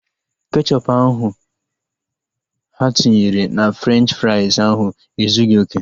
Kechọpu ahu ha tinyere na Frenchi frais ahu ezughị okè